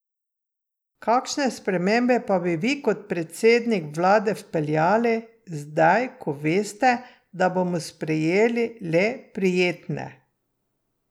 Kakšne spremembe pa bi vi kot predsednik vlade vpeljali, zdaj ko veste, da bomo sprejeli le prijetne?